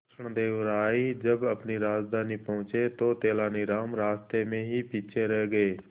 कृष्णदेव राय जब अपनी राजधानी पहुंचे तो तेलानीराम रास्ते में ही पीछे रह गए